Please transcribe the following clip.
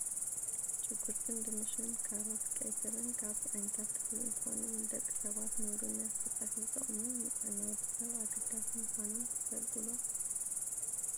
ሽጉርትን ድንሽ፣ ካሮት፣ ቀይስር ካብ ዓይነታት ተክሊ እንትኮኑ ንደቂ ሰባት ንምግብነት ብፀብሒ ዝጠቅሙ ንጥዕና ወዲ ሰብ ኣገዳሲ ምኳኖም ትፈልጡ ዶ ?